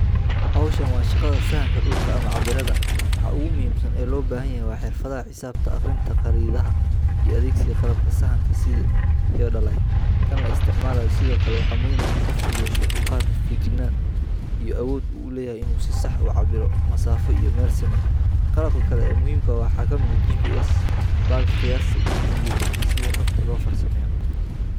Hawshan waa shaqada sahanka dhulka ama cabbiraadda. Waxa ugu muhiimsan ee loo baahan yahay waa xirfadaha xisaabta, akhrinta khariidadaha, iyo adeegsiga qalabka sahanka sida theodolite kan la isticmaalayo. Sidoo kale, waxaa muhiim ah in qofku yeesho dulqaad, feejignaan, iyo awood uu u leeyahay inuu si sax ah u cabbiro masaafo iyo meelo siman. Qalabka kale ee muhiimka ah waxaa ka mid ah GPS, baalka qiyaasta, iyo kumbuyuutarka si xogta loo farsameeyo.